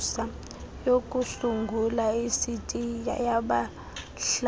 yokusungula isitiya yabahlali